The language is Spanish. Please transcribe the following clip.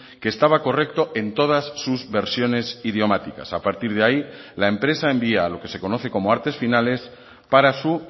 que estaba correcto en todas sus versiones idiomáticas a partir de ahí la empresa envía lo que se conoce como artes finales para su